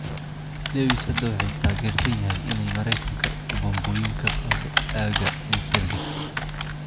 Lewis hadda waxa uu taageersan yahay in Maraykanka uu bambooyinka ka qaado aagga Incirlik.